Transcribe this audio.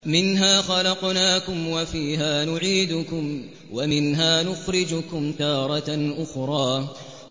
۞ مِنْهَا خَلَقْنَاكُمْ وَفِيهَا نُعِيدُكُمْ وَمِنْهَا نُخْرِجُكُمْ تَارَةً أُخْرَىٰ